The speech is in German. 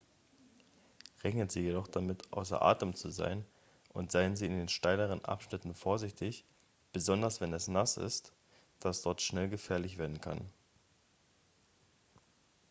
rechnen sie jedoch damit außer atem zu sein und seien sie in den steileren abschnitten vorsichtig besonders wenn es nass ist da es dort schnell gefährlich werden kann